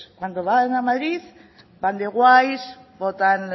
cuando van a madrid van de guays votan